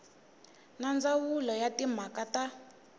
na ndzawulo ya timhaka ta